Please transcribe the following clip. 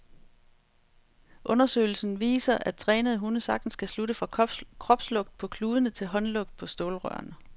Undersøgelsen nu viser, at trænede hunde sagtens kan slutte fra kropslugt på kludene til håndlugt på stålrørene.